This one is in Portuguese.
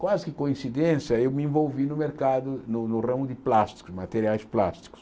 Quase que coincidência, eu me envolvi no mercado, no no ramo de plásticos, materiais de plásticos.